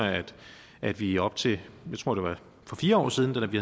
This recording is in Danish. at vi op til jeg tror det var for fire år siden da vi